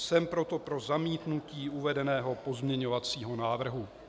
Jsem proto pro zamítnutí uvedeného pozměňovacího návrhu.